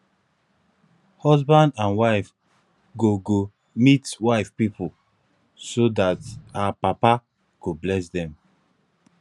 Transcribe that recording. husband and wife go go meet wife pipo so dat her papa go bless dem